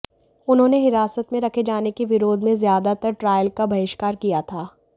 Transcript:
उन्होंने हिरासत में रखे जाने के विरोध में ज्यादातर ट्रायल का बहिष्कार किया था